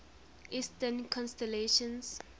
eastern constellations